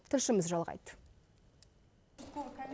тілшіміз жалғайды